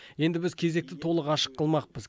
енді біз кезекті толық ашық қылмақпыз